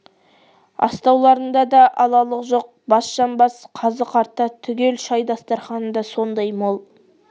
астауларда да алалық жоқ бас жамбас қазы-қарта түгел шай дастарқаны да сондай мол